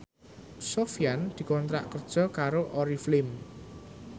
Sofyan dikontrak kerja karo Oriflame